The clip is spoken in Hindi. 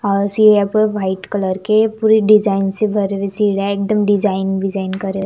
पास ही यहां पर व्हाइट कलर के पूरी डिजाइन से भरे हुए सीन है एकदम डिजाइन विजाइन करे --